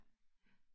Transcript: Ja, ja